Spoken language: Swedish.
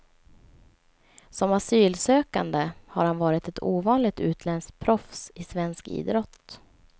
Som asylsökande har han varit ett ovanligt utländskt proffs i svensk idrott.